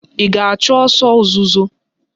Ị ga-achụ ọsọ ozuzo?